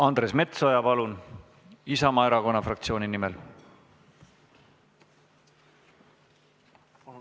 Andres Metsoja Isamaa Erakonna fraktsiooni nimel.